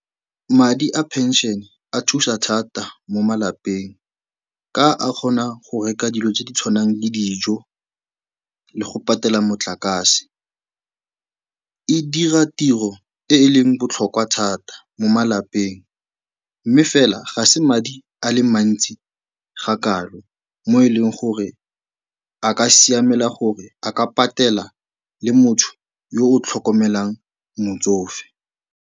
Madi a pension-e a thusa thata mo malapeng ka a kgona go reka dilo tse di tshwanang le dijo le go patela motlakase. E dira tiro e e leng botlhokwa thata mo malapeng mme fela ga se madi a le mantsi ga kalo mo e leng gore a ka siamela gore a ka patela le motho yo o tlhokomelang motsofe.